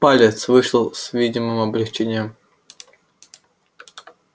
палец вышел с видимым облегчением